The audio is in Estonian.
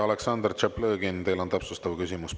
Aleksandr Tšaplõgin, teil on täpsustav küsimus.